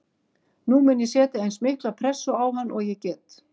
Nú mun ég setja eins mikla pressu á hann og ég get.